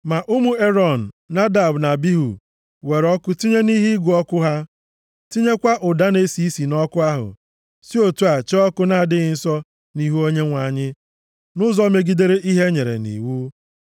Ma ụmụ Erọn, Nadab na Abihu, were ọkụ tinye nʼihe ịgụ ọkụ ha, tinyekwa ụda na-esi isi nʼọkụ ahụ, si otu a chee ọkụ na-adịghị nsọ nʼihu Onyenwe anyị, nʼụzọ megidere ihe e nyere nʼiwu.